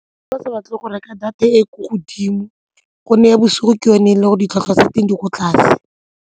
Fa ba sa batle go reka data e ko godimo gone ya bosigo ke yone e le go ditlhwatlhwa tsa teng di ko tlase.